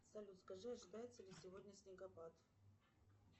салют скажи ожидается ли сегодня снегопад